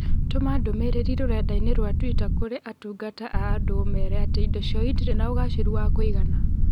tũma ndũmīrīri rũrenda-inī rũa tũita kũrĩ atungata a andũ ũmeere atĩ indo ciao ĩtirĩ na ũgaacĩru wa kũigana